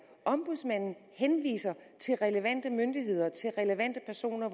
ombudsmanden henviser til relevante myndigheder til relevante personer